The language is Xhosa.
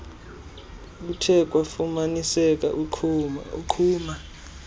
kuthe kwafumaniseka iqhuma